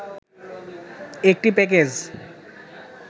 একটি প্যাকেজ